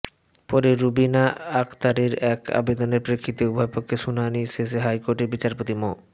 পরে রুবিনা আখতারের এক আবেদনের প্রেক্ষিতে উভয়পক্ষকে শুনানি শেষে হাইকোর্টের বিচারপতি মো